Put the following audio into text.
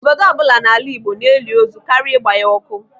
Obodo ọbụla n'ala Igbo na-eli ozu karịa ịgba ya ọkụ.